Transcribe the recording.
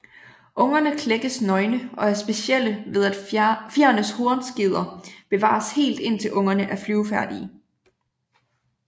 Ungerne klækkes nøgne og er specielle ved at fjerenes hornskeder bevares helt indtil ungerne er flyvefærdige